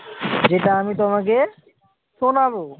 যেটা আমি তোমাকে শোনাবো